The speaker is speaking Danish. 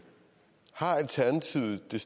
det